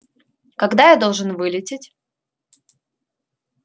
когда я должен вылететь